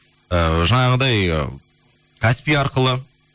ііі жаңағыдай каспий арқылы